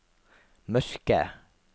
mørke